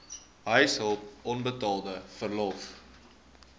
huishulp onbetaalde verlof